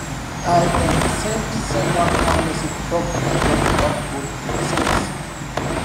i um send send one calm message to talk my worry about the volume during service